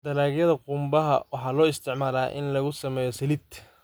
Dalagyada qumbaha waxaa loo isticmaalaa in lagu sameeyo saliid.